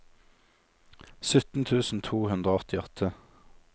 sytten tusen to hundre og åttiåtte